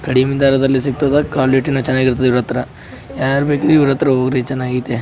ಕಡಿಮೆ ದರದಲ್ಲಿ ಸಿಗ್ತದ ಕ್ವಾಲಿಟಿ ನು ಚೆನ್ನಾಗಿರುತ್ತೆ ಇವ್ರತ್ರ ಯಾರ್ ಬೆಕು ಇವ್ರತ್ರ ಹೋಗ್ರಿ ಚೆನ್ನಾಗಿರುತ್ತೆ.